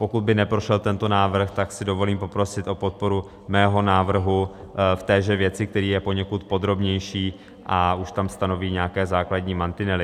Pokud by neprošel tento návrh, tak si dovolím poprosit o podporu svého návrhu v téže věci, který je poněkud podrobnější a už tam stanoví nějaké základní mantinely.